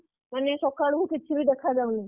ଶୀତ ଏତେ ଜୋରେ ହଉଛି ମାନେ ସକାଳୁ କିଛି ବି ଦେଖା ଯାଉନି